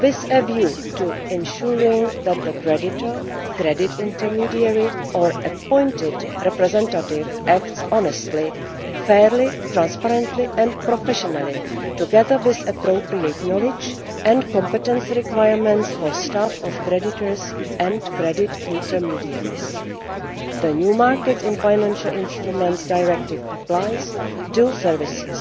with a view to ensuring that the creditor, credit intermediary or appointed representative acts honestly, fairly, transparently and professionally, as well as introducing appropriate knowledge and competence requirements for staff of creditors and credit intermediaries. The new Markets in Financial Instruments Directive applies to investment services.